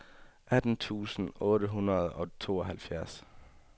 atten tusind otte hundrede og tooghalvfjerds